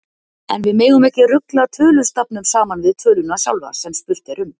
En við megum ekki rugla tölustafnum saman við töluna sjálfa, sem spurt er um.